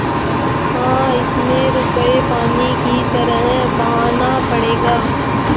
हाँ इसमें रुपये पानी की तरह बहाना पड़ेगा